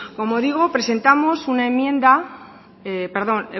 como digo